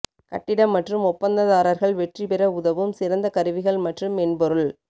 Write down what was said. கட்டிடம் மற்றும் ஒப்பந்ததாரர்கள் வெற்றிபெற உதவும் சிறந்த கருவிகள் மற்றும் மென்பொருள்